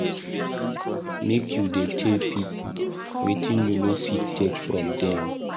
Make you dey tell pipo wetin you no fit take from dem.